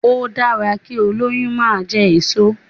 Ó dára kí olóyún máa jẹ èso.